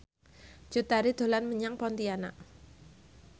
Cut Tari dolan menyang Pontianak